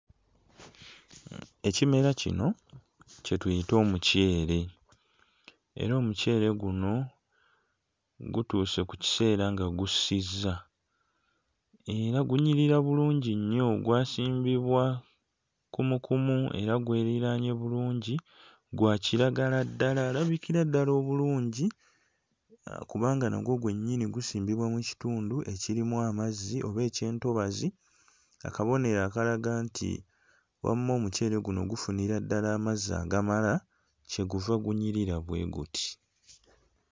Ekimera kino kye tuyita omuceere. Era omuceere guno gutuuse ku kiseera nga gussizza. Era gunyirira bulungi nnyo gwasimbibwa kumukumu era gweriraanye bulungi, gwa kiragala ddala alabikira ddala obulungi, kubanga nagwo gwennyini gusimbibwa mu kitundu ekirimu amazzi oba eky'entobazi, akabonero akalaga nti wamma omuceere guno gufunira ddala amazzi agamala, kye guva gunyirira bwe guti.